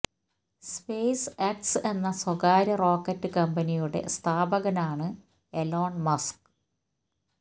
space X എന്ന സ്വകാര്യ rocket കമ്പനിയുടെ സ്ഥാപകനാണ് എലോൺ മസ്ക്